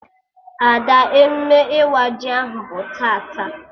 Ada, emume ịwa ji ahụ bụ tata